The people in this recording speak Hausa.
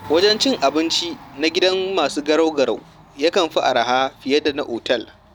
Wajen cin abinci na gidan masu garau-garau yakan fi arha fiye da na otal.